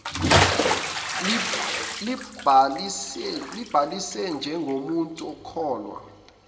libhalisile njengomuntu okhokha